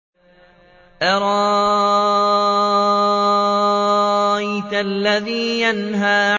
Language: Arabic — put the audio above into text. أَرَأَيْتَ الَّذِي يَنْهَىٰ